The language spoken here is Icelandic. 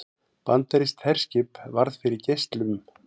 Bandarískt herskip varð fyrir geislum